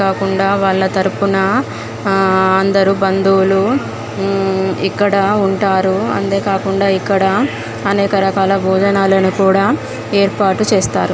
అది కాకుండా వాళ్ళ తరుపున ఆ అందరూ బంధువులు ఊ ఇక్కడ ఉంటారు. ఇక్కడ అనేక రకాల భోజనాలను కూడా ఏర్పాటు చేస్తారు.